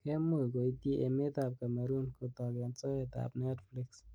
Kemuch koityi emet ab Cameroon kotok eng soet ab Netflix.